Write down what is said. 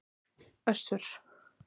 Össur